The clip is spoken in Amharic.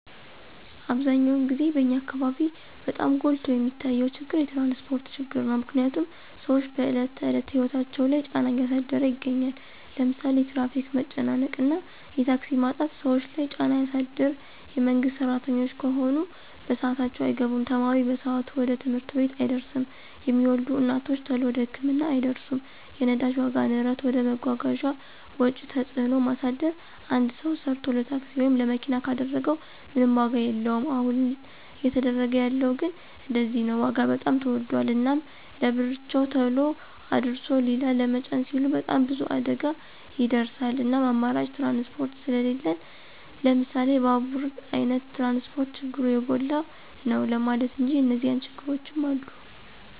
አብዛኛውን ግዜ በኛ አካበቢ በጣም ጎልቶ የሚታየው ችግር የትራንስፖርት ችግር ነው። ምክንያትም ስዎች በዕለት ተዕለት ህይወታቸው ላይ ጫና እያሳደረ ይገኛል። ለምሳሌ የትራፊክ መጨናነቅ ወይም የታክሲ ማጣት ሰዎች ለይ ጫና ያሳድር የመንግስት ስራተኞች ከሆኑ በስአታቸው አይገቡም፣ ተማሪ በሰአቱ ወደ ትምህርት ቤት አይደርስም፣ የሚወልዱ እናቶች ተሎ ወደ ህክምና አይደርሱም። የነዳጅ ዋጋ ንረት ወደ መጓጓዣ ወጪ ተጽዕኖ ማሳደር አንድ ሰው ሰርቶ ለታክሲ ወይም ለመኪና ካደረገው ምንም ዋጋ የለወም አሁን እየተደረገ ያለው ግን እንደዚያ ነው ዋጋ በጣም ተወዶል። እናም ለብርቸው ተሎ አድርሶ ሊላ ለመጫን ሲሉ በጣም ብዙ አደጋ ይከሰታል እናም አማራጭ ትራንስፖርት ስሊለን ለምሳሌ ባቡራ አይነት ትራንስፖርት ችግሩ የጎላ ነው ለማለት እንጂ የኒዚያ ችግሮችም አሉ።